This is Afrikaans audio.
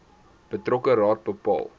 betrokke raad bepaal